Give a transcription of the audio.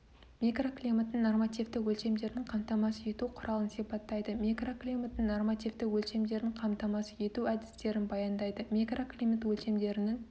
микроклиматтың нормативті өлшемдерін қамтамасыз ету құралын сипаттайды микроклиматтың нормативті өлшемдерін қамтамасыз ету әдістерін баяндайды микроклимат өлшемдерінің